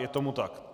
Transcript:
Je tomu tak.